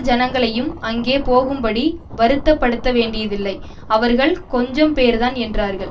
ஜனங்களையும் அங்கே போகும்படி வருத்தப்படுத்தவேண்டியதில்லை அவர்கள் கொஞ்சம்பேர்தான் என்றார்கள்